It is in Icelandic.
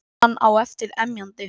Hann á eftir emjandi.